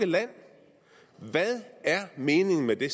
land hvad er meningen med det